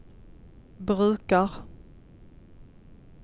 brukar